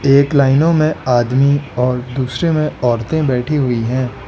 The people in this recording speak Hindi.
एक लाइनों में आदमी और दूसरे में औरतें बैठी हुई है।